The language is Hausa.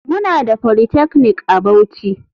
Muna da polytechnic a bauchi.